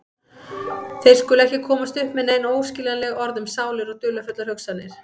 Þau skulu ekki komast upp með nein óskiljanleg orð um sálir og dularfullar hugsanir.